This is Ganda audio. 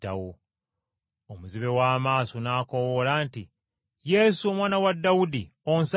Omuzibe w’amaaso n’akoowoola nti, “Yesu, Omwana wa Dawudi, onsaasire!”